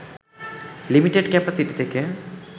limited capacity থেকে